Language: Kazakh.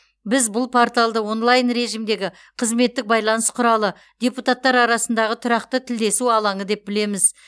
біз бұл порталды онлайн режимдегі қызметтік байланыс құралы депутаттар арасындағы тұрақты тілдесу алаңы деп білеміз